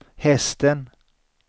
hästen